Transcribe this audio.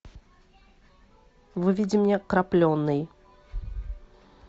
выведи мне крапленый